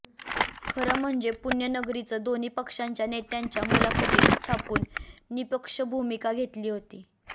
खरं म्हणजे पुण्यनगरीनं दोन्ही पक्षाच्या नेत्यांच्या मुलाखती छापून निःपक्ष भूमिका घेतली होती